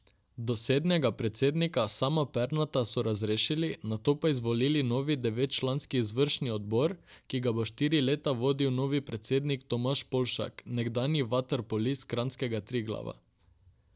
Dosedanjega predsednika Sama Perneta so razrešili, nato pa izvolili novi devetčlanski izvršni odbor, ki ga bo štiri leta vodil novi predsednik Tomaž Polšak, nekdanji vaterpolist kranjskega Triglava.